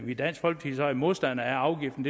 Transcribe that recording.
i dansk folkeparti så er modstandere af afgiften